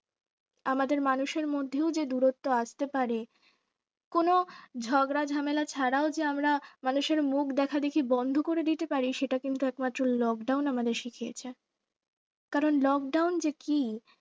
আমাদের মানুষের মধ্যেও যে দূরত্ব আসতে পারে কোন ঝগড়া ঝামেলা ছাড়াও যে আমরা মানে মানুষের মুখ দেখাদেখি বন্ধ করে দিতে পারি সেটা কিন্তু একমাত্র lockdown আমাদের শিখিয়েছে। কারণ lockdown যে কি